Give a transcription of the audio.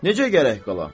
Necə gərək qala?